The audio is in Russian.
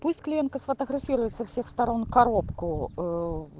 пусть клиентка сфотографирует со всех сторон коробку